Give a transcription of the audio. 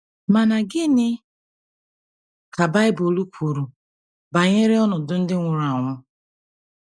Ma gịnị ka Bible kwuru banyere ọnọdụ ndị nwụrụ anwụ?